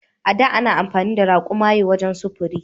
A da ana amfani da raƙumaye wajen sufuri.